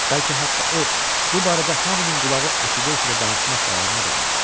Bəlkə hətta o bu barədə hamının qulağı eşidə-eşidə danışmaq qərarına da gəlib.